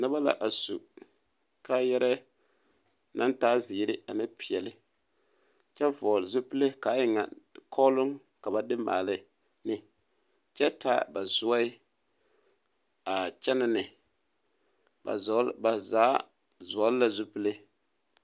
Noba la a su kaayɛrɛɛ naŋ taa zeere ane peɛlle kyɛ vɔgle zupile ka a e ŋa kɔɔloŋ ka ba de maale ne kyɛ taa zuɛ a kyɛnɛ ne ba vɔɔl ba zaa vɔgle la zupile.